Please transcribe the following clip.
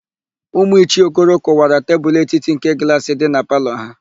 Ụmụ Ichie Okoro kụwara tebulu etiti nke glaasị dị na palọ ha.